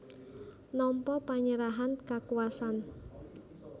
Nampa panyerahan kakuwasan